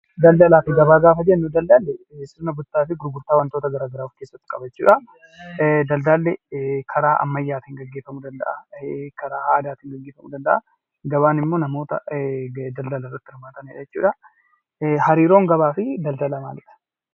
Daldalaa fi gabaa gaafa jennu daldala jechuun bittaa fi gurgurtaa wanta tokkoo of keessatti qabata jechuudha. Daldalli karaa ammayyaatiin gaggeeffamuu danda'a. Karaa aadaatiin gaggeeffamuu danda'a. Gabaan immoo namoota daldala irratti hirmaatan jechuudha. Hariiroon gabaa fi daldalaa maalidhaa?